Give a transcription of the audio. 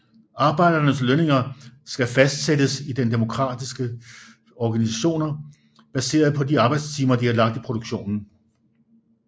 Arbejdernes lønninger skal fastsættes i demokratiske organisationer baseret på de arbejdstimer de har lagt i produktionen